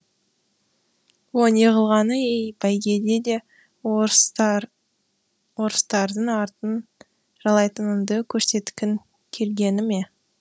о неғылғаны ей бәйгеде де орыстардың артын жалайтыныңды көрсеткің келгені ме